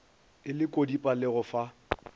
e lekodipa le go fa